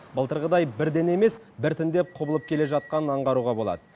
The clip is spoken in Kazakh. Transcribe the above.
былтырғыдай бірден емес біртіндеп құбылып келе жатқанын аңғаруға болады